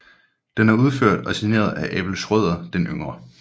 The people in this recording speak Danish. Den er udført og signeret af Abel Schrøder den Yngre